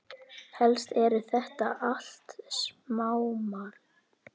Helst eru þetta allt smámál.